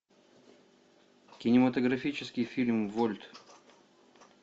кинематографический фильм вольт